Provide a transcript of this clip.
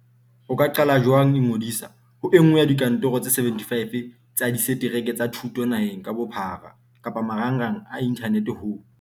O ka qala jwang Ingodisa ho e nngwe ya dikantoro tse 75 tsa disetereke tsa thuto naheng ka bophara kapa marangrang a inthanete ho